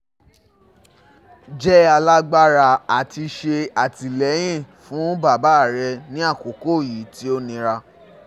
Jẹ́ alágbára, ati ṣe atilẹyin fun baba rẹ ni akoko yi ti o nira